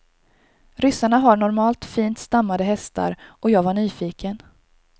Ryssarna har normalt fint stammade hästar och jag var nyfiken.